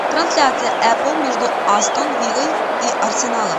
трансляция апл между астон виллой и арсеналом